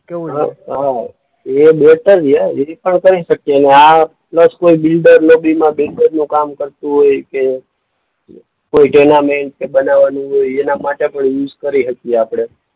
હા હા એ કરી શકીએ ને આ પ્લસ કોઈ બિલ્ડર કામ કરતું હોય કે કોઈ ટેનામેન્ટ બનાવાનું હોય એના માટે પણ યુઝ કરી હકીએ આપણે.